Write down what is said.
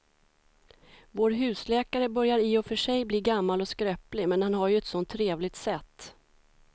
Vår husläkare börjar i och för sig bli gammal och skröplig, men han har ju ett sådant trevligt sätt!